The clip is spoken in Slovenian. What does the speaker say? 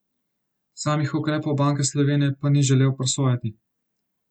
Samih ukrepov Banke Slovenije pa ni želel presojati.